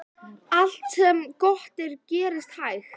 Allt sem gott er gerist hægt.